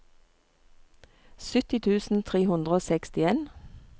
sytti tusen tre hundre og sekstien